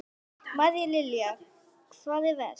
María Lilja: Hvar er verst?